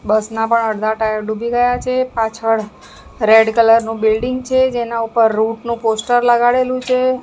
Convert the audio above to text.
બસ ના પણ અડધા ટાયર ડૂબી ગયા છે પાછળ રેડ કલર નું બિલ્ડીંગ છે જેના ઉપર રૂટનું પોસ્ટર લગાડેલું છે.